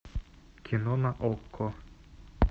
кино на окко